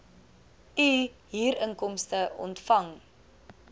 u huurinkomste ontvang